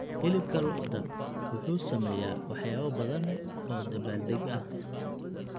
Hilibka lo'da wuxuu sameeyaa waxyaabo badan oo dabaaldeg ah.